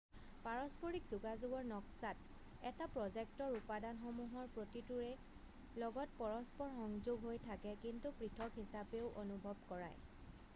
পৰস্পৰিক যোগাযোগৰ নক্সাত এটা প্ৰ'জেক্টৰ উপাদানসমূহৰ প্ৰতিটোৰে লগত পৰস্পৰ সংযোগ হৈ থাকে কিন্তু পৃথক হিচাপেও অনুভৱ কৰায়